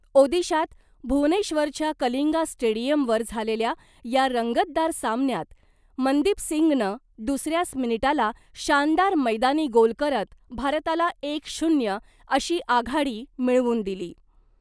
ओदीशात भुवनेश्वरच्या कलिंगा स्टेडियमवर झालेल्या या रंगतदार सामन्यात , मनदीपसिंगनं दुसऱ्याच मिनिटाला शानदार मैदानी गोल करत भारताला एक शून्य अशी आघाडी मिळवून दिली .